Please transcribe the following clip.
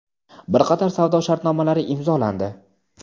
bir qator savdo shartnomalari imzolandi.